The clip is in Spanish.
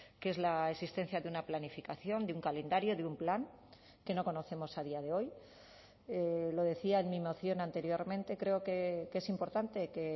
que es la existencia de una planificación de un calendario de un plan que no conocemos a día de hoy lo decía en mi moción anteriormente creo que es importante que